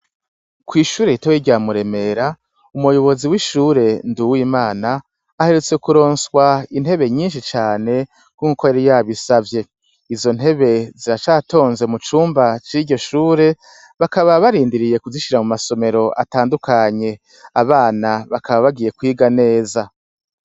Kw'ishure ritoya rya Muremera, umuyobozi w'ishure Nduwimana aherutse kuronswa intebe nyinshi cane nkuko yari yabisavye. Izo ntebe ziracatonze mu cumba c'iryo shure, bakaba barindiriye kuzishira mu masomero atandukanye. Aabana bakaba bagiye kwiga neza.